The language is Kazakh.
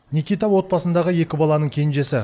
никита отбасындағы екі баланың кенжесі